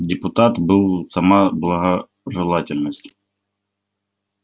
депутат был сама благожелательность